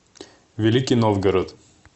великий новгород